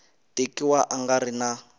tekiwa a nga ri na